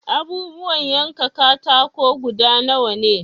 Abubuwan yankan katako guda nawa ne?